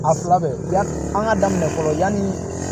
A fila bɛɛ yan an ka daminɛ fɔlɔ yanni